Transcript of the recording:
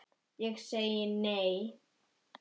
Nei segi ég.